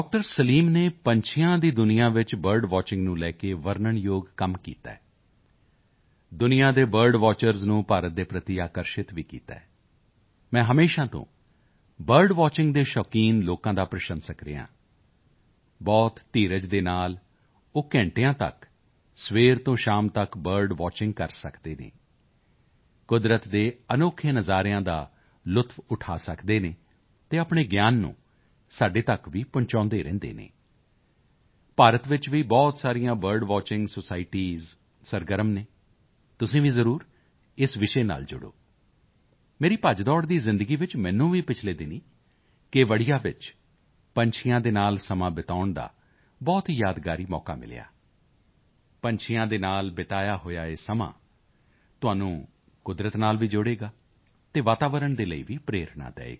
ਸਲੀਮ ਨੇ ਪੰਛੀਆਂ ਦੀ ਦੁਨੀਆ ਵਿੱਚ ਬਰਡ ਵਾਚਿੰਗ ਨੂੰ ਲੈ ਕੇ ਵਰਨਣਯੋਗ ਕੰਮ ਕੀਤਾ ਹੈ ਦੁਨੀਆ ਦੇ ਬਰਡ ਵਾਚਿੰਗ ਨੂੰ ਭਾਰਤ ਦੇ ਪ੍ਰਤੀ ਆਕਰਸ਼ਿਤ ਵੀ ਕੀਤਾ ਹੈ ਮੈਂ ਹਮੇਸ਼ਾ ਤੋਂ ਬਰਡ ਵਾਚਿੰਗ ਦੇ ਸ਼ੌਕੀਨ ਲੋਕਾਂ ਦਾ ਪ੍ਰਸ਼ੰਸਕ ਰਿਹਾ ਹਾਂ ਬਹੁਤ ਧੀਰਜ ਦੇ ਨਾਲ ਉਹ ਘੰਟਿਆਂ ਤੱਕ ਸਵੇਰ ਤੋਂ ਸ਼ਾਮ ਤੱਕ ਬਰਡ ਵਾਚਿੰਗ ਕਰ ਸਕਦੇ ਹਨ ਕੁਦਰਤ ਦੇ ਅਨੋਖੇ ਨਜ਼ਾਰਿਆਂ ਦਾ ਲੁਤਫ ਉਠਾ ਸਕਦੇ ਹਨ ਅਤੇ ਆਪਣੇ ਗਿਆਨ ਨੂੰ ਸਾਡੇ ਤੱਕ ਵੀ ਪਹੁੰਚਾਉਦੇ ਰਹਿੰਦੇ ਹਨ ਭਾਰਤ ਵਿੱਚ ਵੀ ਬਹੁਤ ਸਾਰੀਆਂ ਬਰਡ ਵਾਚਿੰਗ ਸੋਸਾਇਟੀ ਸਰਗਰਮ ਹਨ ਤੁਸੀਂ ਵੀ ਜ਼ਰੂਰ ਇਸ ਵਿਸ਼ੇ ਨਾਲ ਜੁੜੋ ਮੇਰੀ ਭੱਜਦੌੜ ਦੀ ਜ਼ਿੰਦਗੀ ਵਿੱਚ ਮੈਨੂੰ ਵੀ ਪਿਛਲੇ ਦਿਨੀਂ ਕੇਵੜੀਆ ਵਿੱਚ ਪੰਛੀਆਂ ਦੇ ਨਾਲ ਸਮਾਂ ਬਿਤਾਉਣ ਦਾ ਬਹੁਤ ਹੀ ਯਾਦਗਾਰ ਮੌਕਾ ਮਿਲਿਆ ਪੰਛੀਆਂ ਦੇ ਨਾਲ ਬਿਤਾਇਆ ਹੋਇਆ ਇਹ ਸਮਾਂ ਤੁਹਾਨੂੰ ਕੁਦਰਤ ਨਾਲ ਵੀ ਜੋੜੇਗਾ ਅਤੇ ਵਾਤਾਵਰਣ ਦੇ ਲਈ ਵੀ ਪ੍ਰੇਰਣਾ ਦੇਵੇਗਾ